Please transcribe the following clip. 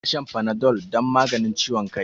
Ya na shan Panadol don maganin ciwon kai.